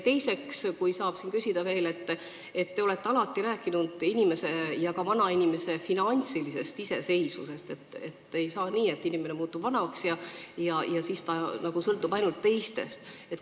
Teiseks, kui saan, siis küsin selle kohta, et te olete alati rääkinud inimese ja ka vanainimese finantsilisest iseseisvusest, et ei või olla nii, et inimene muutub vanaks ja siis ta sõltub ainult teistest.